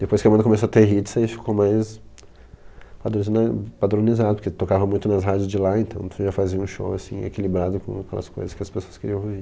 Depois que a banda começou a ter hits, aí ficou mais padroniz, padronizado, porque tocava muito nas rádios de lá, então já fazia um show assim, equilibrado com aquelas coisas que as pessoas queriam ouvir.